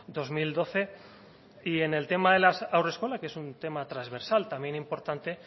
dos mil doce y en el tema de las haurreskolak que es un tema transversal también importante